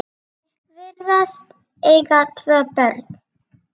Þau virðast eiga tvö börn.